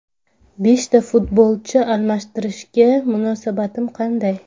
Beshta futbolchi almashtirishga munosabatim qanday?